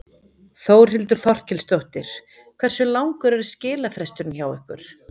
Þórhildur Þorkelsdóttir: Hversu langur er skilafresturinn hjá ykkur?